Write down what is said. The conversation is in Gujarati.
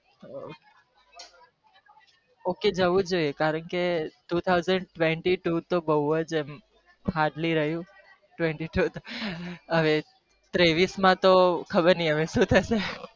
okay જવું જોઈએ કારણ ક two thousand twenty two hardly હવે ત્રેવીસ મા તો ખબર નથી સુ થશે